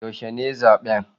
Yaushe ne zaben?